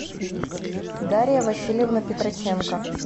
дарья васильевна петроченко